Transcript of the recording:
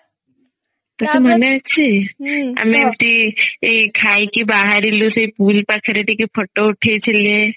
ଆମେ ଏମତି ଏଇ ଖାଇକି ବାହାରିଲୁ ସେଇ ପୁରୀ ପାଖରେ ଟିକେ photo ଉଠେଇ ଥିଲେ